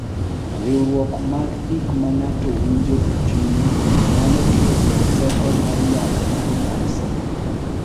Riwruok mag gik ma ng'ato winjo e chunye nyalo kelo teko mar yamo mar nyasi.